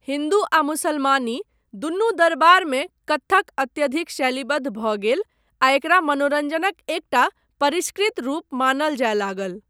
हिन्दू आ मुसलमानी दुनू दरबारमे कत्थक अत्यधिक शैलीबद्ध भऽ गेल आ एकरा मनोरञ्जनक एकटा परिष्कृत रूप मानय जाय लागल।